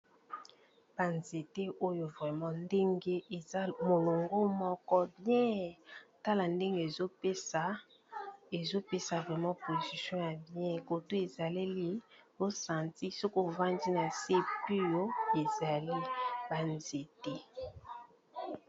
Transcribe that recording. banzete oyo vrama ndenge eza molongo moko bien tala ndenge ezopesa vraima prolcution ya bien kotu ezaleli losanti soko vandi na se puyo ezali banzete